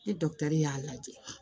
Ni y'a lajɛ